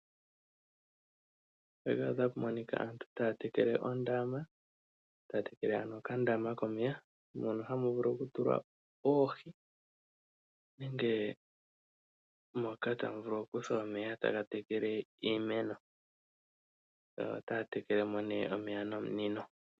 Mpaka otapu monika aantu taya tekele ondama. Taya tekele ano okandama komeya mon9 hamu vulu oku tulwa oohi nenge tamu kala tamu kuthwa omeya taga tekele iimeno ota ya tekele mo nee omeya nomunino.